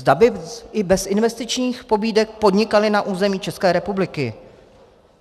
Zda by i bez investičních pobídek podnikaly na území České republiky.